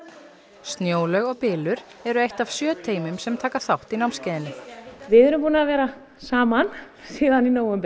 Snjólaug og bylur eru eitt af sjö teymum sem taka þátt í námskeiðinu við erum búin að vera saman síðan í nóvember